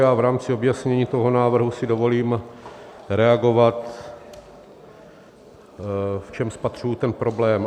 Já v rámci objasnění toho návrhu si dovolím reagovat, v čem spatřuji ten problém.